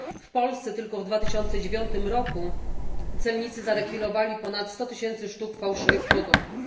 w Polsce tylko w 2009 roku celnicy zarekwirowali ponad 100 tysięcy sztuk fałszywych produktów.